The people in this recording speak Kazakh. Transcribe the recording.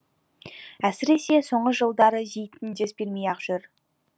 әсіресе соңғы жылдары зейтін дес бермей ақ жүр